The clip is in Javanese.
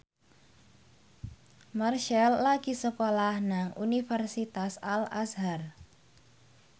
Marchell lagi sekolah nang Universitas Al Azhar